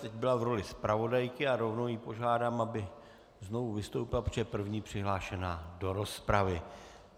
Teď byla v roli zpravodajky a rovnou ji požádám, aby znovu vystoupila, protože je první přihlášená do rozpravy.